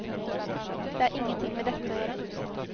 Det har ingenting med dette å gjøre.